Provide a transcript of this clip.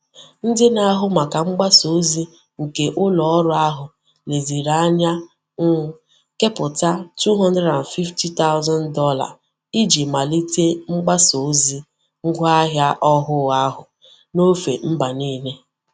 Ndị na-ahụ maka mgbasa ozi nke ụlọọrụ ahụ leziri anya um kepụta $250,000 iji malite mgbasa ozi ngwaahịa ọhụụ ahụ n'ofe mba niile.